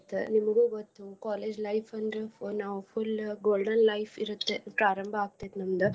ನಿಮ್ಗೂ ಗೊತ್ತು college life ಅಂದ್ರ ನಾವ್ full golden life ಇರುತ್ತೆ ಪ್ರಾರಂಭ ಆಗತೈತಿ ನಮ್ದ.